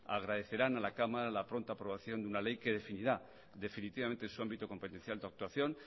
agradecerán a la cámara la pronta aprobación de una ley que definirá definitivamente su ámbito competencial de actuación